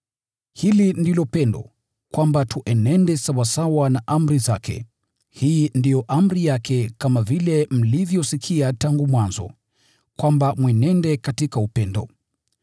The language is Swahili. Hili ndilo pendo, kwamba tuenende sawasawa na amri zake. Hii ndiyo amri yake kama vile mlivyosikia tangu mwanzo, kwamba mwenende katika upendo.